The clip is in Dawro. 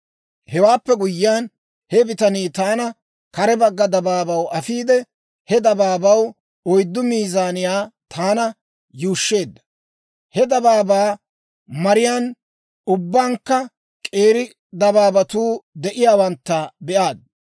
Hewaappe guyyiyaan, he bitanii taana kare bagga dabaabaw afiide, he dabaabaw oyddu mazzaniyaa taana yuushsheedda. He dabaabaa mariyaan ubbankka k'eeri dabaabatuu de'iyaawantta be'aad.